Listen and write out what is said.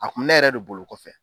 A kun mi ne yɛrɛ de bolo kɔfɛ